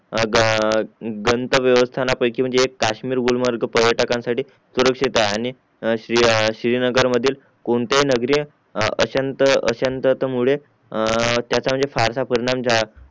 आज दांत व्यवस्थानापैकी म्हणजे एक काश्मीर गुलमर्ग पर्यटकांसाठी सुरक्षित आहे आणि श्री श्रीनगर मधील कोणतेही नागेरिया अशांत अशांत मुले ए ए म्हणजे त्याचा फारसा परिणाम झा